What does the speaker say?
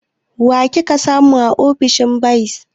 Wa kika samu a ofishin bayis?